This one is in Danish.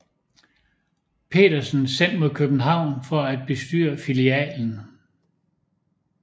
Petersen sendt mod København for at bestyre filialen